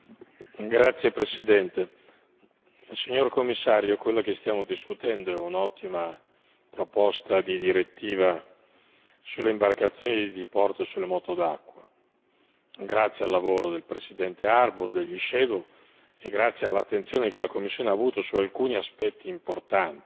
Signor Presidente, onorevoli colleghi, signor Commissario, quella che stiamo discutendo è un'ottima proposta di direttiva sulle imbarcazioni da diporto e sulle moto d'acqua, grazie al lavoro del presidente Harbour e dei relatori ombra e grazie all'attenzione che la Commissione ha avuto su alcuni aspetti importanti.